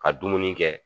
Ka dumuni kɛ